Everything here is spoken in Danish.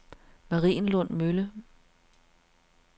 Marienlund Mølle